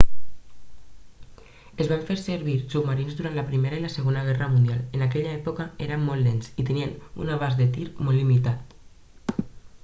es van fer servir submarins durant la primera i la segona guerra mundial en aquella època eren molt lents i tenien un abast de tir molt limitat